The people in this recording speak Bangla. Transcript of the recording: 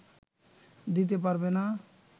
দিতে পারবে না